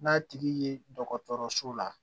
N'a tigi ye dɔgɔtɔrɔso la